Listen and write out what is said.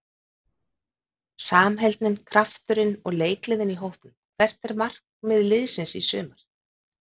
Samheldnin, krafturinn og leikgleðin í hópnum Hvert er markmið liðsins í sumar?